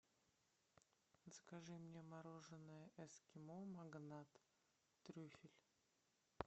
закажи мне мороженое эскимо магнат трюфель